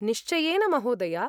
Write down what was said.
निश्चयेन, महोदया।